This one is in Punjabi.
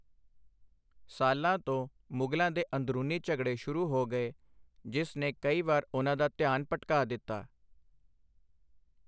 ਸਾਲਾਂ ਤੋਂ, ਮੁਗਲਾਂ ਦੇ ਅੰਦਰੂਨੀ ਝਗੜੇ ਸ਼ੁਰੂ ਹੋ ਗਏ, ਜਿਸ ਨੇ ਕਈ ਵਾਰ ਉਨ੍ਹਾਂ ਦਾ ਧਿਆਨ ਭਟਕਾ ਦਿੱਤਾ।